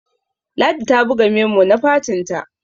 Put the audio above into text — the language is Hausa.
ladi ta buga memo na fatinta